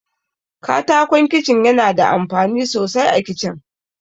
Katakon Kicin yana da amfani sosai a Kicin.